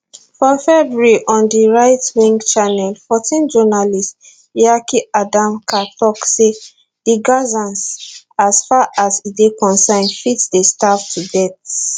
for february on di rightwing channel 14 journalist yaki adamker tok say di gazans as far as e dey concern fit dey starve to death